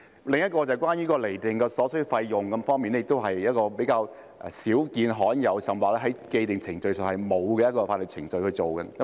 另一項是關於釐定所需費用方面，亦是比較少見和罕有的，甚或在既定程序上，是沒有法律程序去處理的。